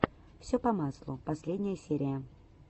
все по маслу последняя серия